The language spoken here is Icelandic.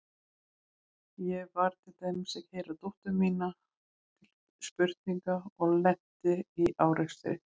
Ég var til dæmis að keyra dóttur mína til spurninga og lenti í árekstri.